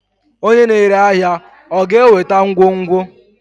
onye na-ere ahịa ọ ga-eweta ngwongwo?